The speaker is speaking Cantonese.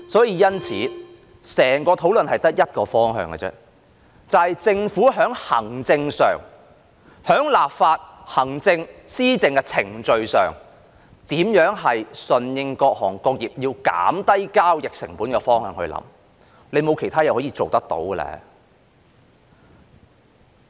因此，整個討論只有一個方向，就是在行政、立法、施政的程序上，政府應從如何順應各行各業想減低交易成本的方向思考，沒有其他事情可以做到。